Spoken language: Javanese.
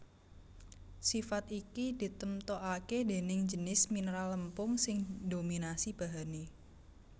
Sifat iki ditemtokaké déning jinis mineral lempung sing ndominasi bahané